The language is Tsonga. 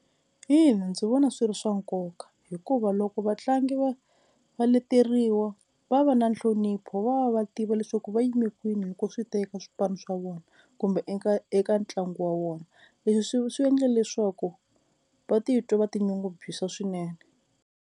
Ina ndzi vona swi ri swa nkoka hikuva loko vatlangi va va leteriwa va va va na nhlonipho va va va tiva leswaku va yime kwini loko swi teka swipano swa vona kumbe eka eka ntlangu wa vona, leswi swi swi endle leswaku va titwa va tinyungubyisa swinene.